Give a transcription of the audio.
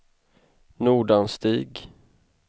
Nordanstig